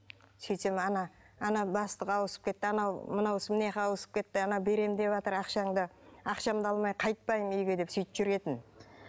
сөйтсем ана ана бастық ауысып кетті анау мынауысы мынаяққа ауысып кетті анау берем деватыр ақшамды ақшамды алмай қайтпаймын үйге деп сөйтіп жүретін